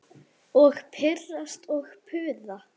Og pirrast og puða.